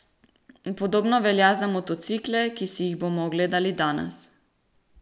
Podobno velja za motocikle, ki si jih bomo ogledali danes.